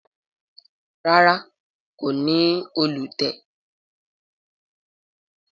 ràrá ko ní Òòlù tiè.